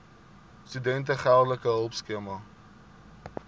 studente geldelike hulpskema